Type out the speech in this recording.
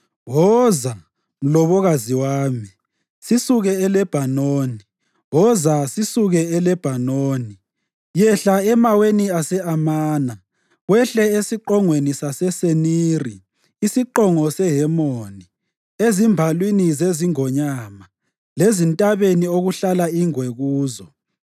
Woza, mlobokazi wami, sisuke eLebhanoni, woza sisuke eLebhanoni. Yehla emaweni ase-Amana, wehle esiqongweni saseSeniri, isiqongo seHemoni, ezimbalwini zezingonyama lezintabeni okuhlala ingwe kuzo.